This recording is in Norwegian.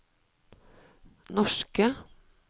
norske